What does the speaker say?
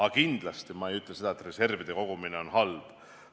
Aga kindlasti ma ei ütle seda, et reservide kogumine on halb.